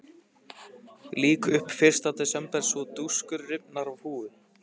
Lýk upp fyrsta desember svo dúskur rifnar af húfu.